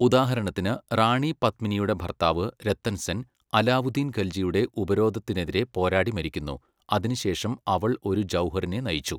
ഉദാഹരണത്തിന്, റാണി പത്മിനിയുടെ ഭർത്താവ് രത്തൻ സെൻ, അലാവുദ്ദീൻ ഖൽജിയുടെ ഉപരോധത്തിനെതിരെ പോരാടി മരിക്കുന്നു, അതിനുശേഷം അവൾ ഒരു ജൗഹറിനെ നയിച്ചു.